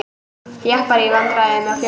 Jeppar í vandræðum á fjöllum